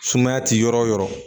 Sumaya ti yɔrɔ o yɔrɔ